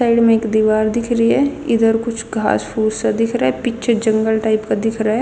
साइड म एक दीवार दिख री ह इधर कुछ घास फूस सा दिख रहा ह पीछह जंगल टाइप का दिख रहा ह.